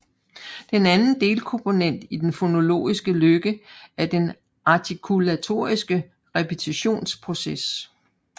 Den anden delkomponent i den fonologiske løkke er den artikulatoriske repetitionsproces